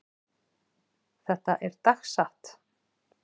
Þetta er dagsatt.